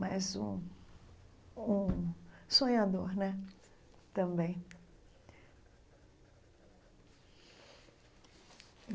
Mas um um sonhador né também.